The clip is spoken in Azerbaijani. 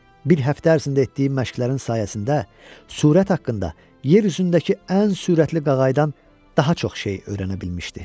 Bir həftə ərzində etdiyi məşqlərin sayəsində sürət haqqında yer üzündəki ən sürətli qağaydan daha çox şey öyrənə bilmişdi.